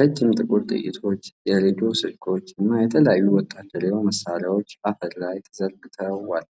ረጅም ጥቁር ጥይቶች፣ የሬዲዮ ስልኮች እና የተለያዩ ወታደራዊ መሣሪያዎች አፈር ላይ ተዘርግተዋል።